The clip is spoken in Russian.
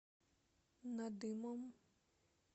надымом